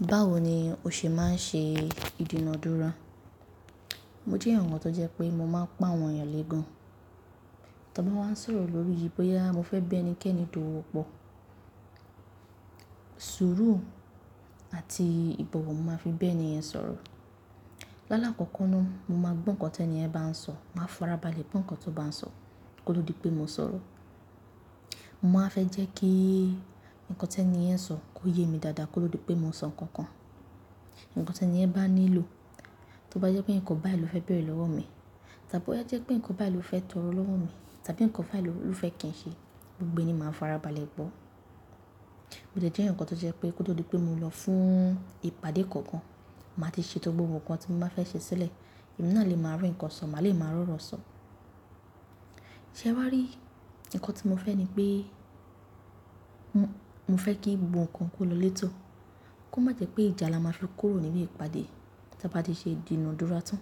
Báwo ni o ṣe máa ń ṣe ìdúnadúrà? Mo jẹ́ àwọn tó jẹ́ pé mo máa ń pọn àwọn èèyàn lé gan. Tí ọ bá wá ń sọ̀rọ̀ lórí yí, bóyá mo fẹ́ bé ẹni kẹ́ni tó wọ́pọ̀, sùúrù àti ìbọ̀wọ̀ mo máa fi bé ẹni yẹn sọ̀rọ̀. Láàlá kọ̀ọ̀kan náà mo máa gbọ́ nǹkan tí ẹni yẹn bá ń sọ̀, màá farabalẹ̀ gbọ́ nǹkan tó bá ń sọ, kó ó tó di pé mo sọ̀rọ̀. Mo máa fẹ́ jẹ́ kí nǹkan tí ẹni yẹn ń sọ kó yé mi dáadáa kó tó di pé mo sọ nǹkan kan. Nǹkan tí ẹni yẹn bá nílò, tí ó bá jẹ́ pé ǹkan báyìí ló fẹ́ béèrè lọ́wọ́ mi, tàbí to bá jẹ́ pé ǹkan báyìí ló fẹ́ tọrọ lọ́wọ́ mi, tàbí ǹkan báyìí ló fẹ́ kí ń ṣe, gbogbo ẹni máa farabalẹ̀ gbọ́. Ó lè jẹ́ ǹkan tó jẹ́ pé kó tó di pé mo lọ fún ìpàdé kankan, màá ti ṣe to gbogbo nǹkan tí mo bá fẹ́ ṣe sílẹ̀, èmi náà lè máa rí ǹkan sọ̀, mà lè máa rọ̀rọ̀ sọ̀. Ṣé ẹwá rí? Ǹkan tí mo fẹ́ ni pé mo fẹ́ kí gbogbo nǹkan kó lọlẹ́tò. Kó má jẹ́ pé ìjà la máa fi kúrò nínú ìpàdé tí a bá ti ṣe ìdúnadúrà tán.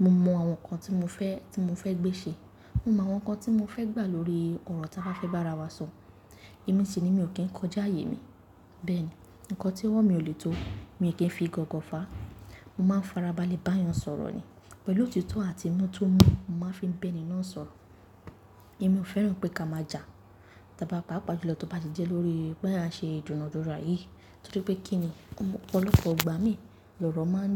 Mo mọ àwọn nǹkan tí mo fẹ́, tí mo fẹ́ gbé ṣe. Mo mọ àwọn nǹkan tí mo fẹ́ gbà lórí ọ̀rọ̀ tí a bá fẹ́ bá ara wa sọ. Ẹ̀mí sì ni mi ò kín kọjá ààyè mi. Bẹ́ẹ̀ ni, ǹkan tí owó mí ò lè tó, mi kín fi gọ̀gọ́ fàá. Mo máa farabalẹ̀ bá wọn sọ̀rọ̀ ni. Pẹ̀lú òtítọ́ àti inú tó mú, mo máa fi ń bé ẹni náà sọ̀rọ̀. Èmi ò fẹ́ràn pé ká máa jà tí a bá pápá jùlọ tó bá ti jẹ́ lórí pe à ń ṣe ìdúnadúrà yìí. Nítorí kíni ọlọ́pọ̀ ìgbà mí, lọrọ máa ń,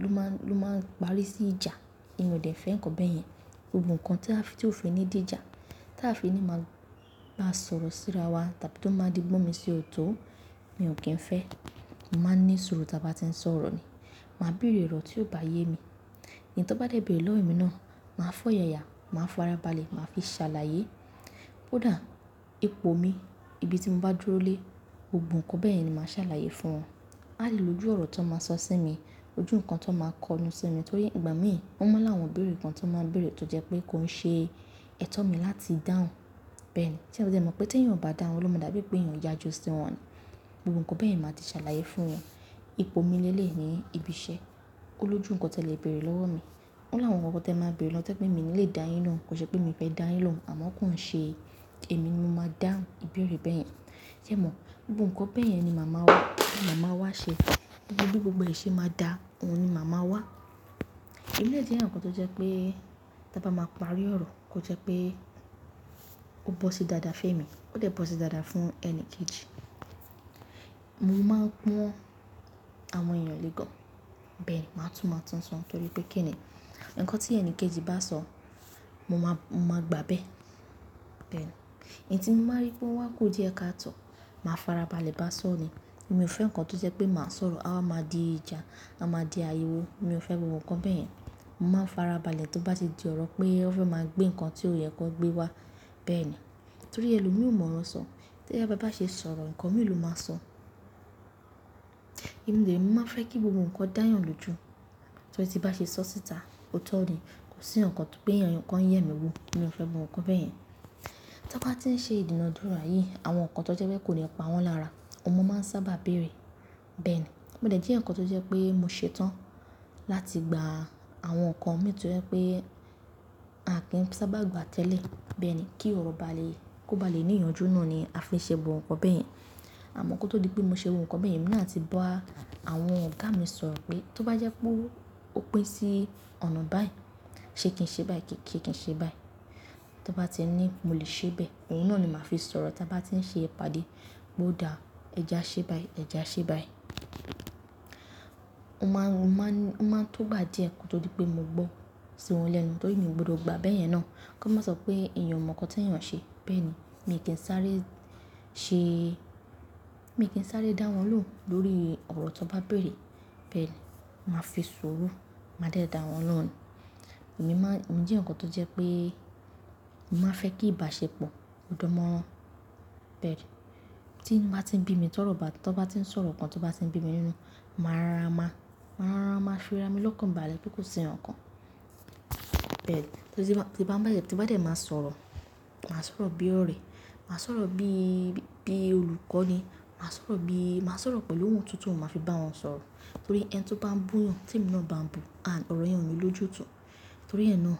ló máa ń, ló máa ń parí sí ìjà. Èmi ò dẹ̀ fẹ́ ǹkan bẹ́ẹ̀ yẹn. Gbogbo nǹkan tí a ti òfin ní dì ìjà, tí a fi ni máa bá sọ̀rọ̀ sí ra wa tàbí tí ó máa di gbọ́mi sí ọ̀tọ̀, mi ò kín fẹ́. Mo máa ní sùúrù tí a bá ti ń sọ̀rọ̀ ni. Màá bèèrè ọ̀rọ̀ tí o bá yé mi. Ńti ó bá dé bèèrè lọ́wọ́ mi náà, màá fọ́yàyà, màá farabalẹ̀, màá fi ṣàlàyé. Kó dàá, ipò mi, ibi tí mo bá dúró lé, gbogbo nǹkan bẹ́ẹ̀ yẹn ni màá ṣàlàyé fún wọn. Alẹ́ ni ojú ọ̀rọ̀ tó máa sọ sí mi, ojú nǹkan tó máa kọnu sí mi torí ìgbà mí, o máa láwọn ìbéèrè kan tó máa ń bèèrè tó jẹ́ pé kó ń ṣe ẹ̀tọ́ mi láti dáhùn. Bẹ́ẹ̀ ni, ṣé dé mọ̀ pé tẹ́ èyán ò bá dá wón, lohùn o máa dàbí pé èyán yàjú sí wọn ni. Gbogbo nǹkan bẹ́ẹ̀ yẹn màá ti ṣàlàyé fún wọn. Ipò mi ni elẹ̀yi ni ibi iṣẹ́, olójú nǹkan tí ẹ lè bèèrè lọ́wọ́ mi. O láwọn ọrọ tí ẹ máa ń bèèrè to jẹ pé mi ní lè dáyín lohùn. Kò ṣe pé mi fẹ́ dáyín lóhùn àmọ́ kó ń ṣe èmi ni mo máa dáhùn ìbéèrè bẹ́ẹ̀ yẹn. Ké ẹ mọ̀? Gbogbo nǹkan bẹ́ẹ̀ yẹn ni màá wá, ni màá wá ṣe. Gbogbo e ṣe máa dà, òun ni màá máa wá. O jẹ́ ẹ̀yan kan tó jẹ́ pé tí a bá máa parí ọ̀rọ̀, kò jẹ́ pé ó bọ́ sí dáadáa fẹ́mi, ó tẹ̀ bọ́ sí dáadáa fún ẹni kejì. Mo máa pọ́n àwọn èèyàn lé gan. Bẹ́ẹ̀ni, ma tun ma tun so torí pe kini, nkan ti enikeji ba so mo maa gba be. Bẹ́ẹ̀ni, ẹ̀yi tí mo maá rí pé ọ wá kú díẹ̀ káàtọ́, màá farabalẹ̀ bá sọ̀ ni. Èmi ò fẹ́ ǹkan tó jẹ́ pé màá sọ̀rọ̀, a wa máa di ìjà, a máa di àriwò. Mi ò fẹ́ gbogbo nǹkan bẹ́ẹ̀ yẹn. Mo máa n farabalẹ̀ to bá ti di ọ̀rọ̀ pé wọ́n fẹ́ máa gbé ǹkan tí ó yẹ kó gbé wá. Bẹ́ẹ̀ni, torí ẹlòmí ò mọ̀ro sọ. Tí a bá bá ṣe sọ̀rọ̀, ǹkan min ló máa sọ? Èmi dè re mo maá fẹ́ kí gbogbo nǹkan dá eyàn lóju. Torí tí bá ṣe sọ síta, ootọ́ ni. Kò sí ǹkankan pé ẹ̀yàn kan yẹ mi wò. Mi ò fẹ́ gbogbo nǹkan bẹ́ẹ̀ yẹn. Tí a bá ti ń ṣe ìdúnadúrà yìí, àwọn nǹkan tó jẹ́ pé kò ní pa wọ́n lára, ọmọ máa ń sábà bèèrè. Bẹ́ẹ̀ ni, mó de je ẹ̀yan kan tó jẹ́ pé mo ṣe tán láti gba àwọn nǹkan mi tó jẹ́ pé a kì n sábà gba tẹ́lẹ̀. Bẹ́ẹ̀ ni, kí ọ̀rọ̀ bá le, kó bá le ní ìyànjú náà ni a fi n ṣe gbogbo nǹkan bẹ́ẹ̀ yẹn. Àmọ́ kó tó di pé mo ṣe gbogbo nǹkan bẹ́ẹ̀ yẹn, èmi náà àti ba àwọn ọ̀gá mi sọ̀rọ̀ pé tí ó bá jẹ́ pé ó pín sí ọ̀nà báyìí, ṣe kí n ṣe báyìí, se kì n ṣe báyìí. To ba ti ni mo le se bẹ́ẹ̀, ohun náà ni ma fi sọ̀rọ̀ ti a ba ti n se ìpàdé pe o da e ja se báyìí, e ja se báyìí. Ó máa ń, ó máa ń, ó máa ń tó gbà díẹ̀ ko to dí pé mo gbọ́ sí wọn lẹ́nu torí èmi ò gbọdọ̀ gba bẹ́ẹ̀ yẹn náà. Kó má sọ pé èèyàn mọ̀ ǹkan tí èèyàn ṣe. Bẹ́ẹ̀ni, mi ki n sáré se, mi ki n sáré da won lohun lórí oro ti won ba beere. Bẹ́ẹ̀ ni, màá fi sùúrù, màá de dáwọn lóhùn ni. Èmi máa, emi jẹ́ eyan kan tó jẹ́ pé mo màá fẹ́ kí ìbáṣepọ̀ kó dánmọ́ran. Bẹ́ẹ̀ni, tí inú bá ti ń bí mi tọrọ ba, tí wọ́n bá ti ń sọ ọ̀rọ̀ kan tí ó bá ti ń bí mi nínú, màá rara máa, màá rara máa fi ara mi lọ́kàn báale pe ko sí ǹkankan. Bẹ́ẹ̀ni, tí bá ń bá mi, tí bá dẹ̀ máa sọ̀rọ̀, màá sọ̀rọ̀ bí ọ̀rẹ́, màá sọ̀rọ̀ bí, bí olùkọ́ ni. Màá sọ̀rọ̀ bí, màá sọ̀rọ̀ pẹ̀lú ohùn tutu, màá fi bá wọn sọ̀rọ̀. Torí ẹni to ba n bu eyan, temi náà ba n bu oro yen oni lojutu torí ẹ náà,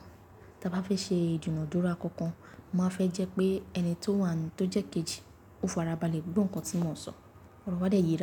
tí a bá fẹ́ ṣe ìdúnadúrà kankan, màá fẹ́ jẹ́ pé ẹni tó wà nù tó jẹ́ kejì, ó farabalẹ̀ gbo nkan tí mọ n sọ. Oro wa de yera.